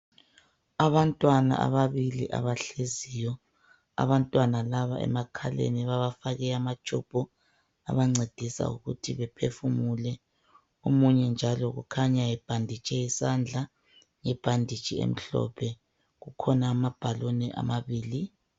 Abantwana ababili abahleziyo. Abantwana laba emakhanda babafake ama tube abancedisa ukuthi bephefumule. Omunye njalo ukhanya ebhanditshe isandla ngebhanditshi emhlophe. Kukhona amabhaluni amabili.